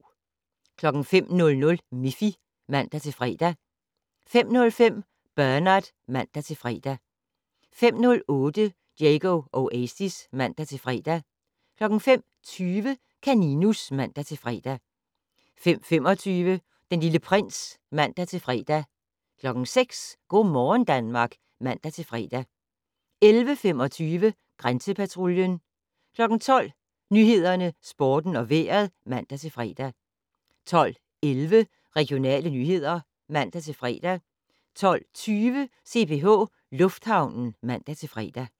05:00: Miffy (man-fre) 05:05: Bernard (man-fre) 05:08: Diego Oasis (man-fre) 05:20: Kaninus (man-fre) 05:25: Den Lille Prins (man-fre) 06:00: Go' morgen Danmark (man-fre) 11:25: Grænsepatruljen 12:00: Nyhederne, Sporten og Vejret (man-fre) 12:11: Regionale nyheder (man-fre) 12:20: CPH Lufthavnen (man-fre)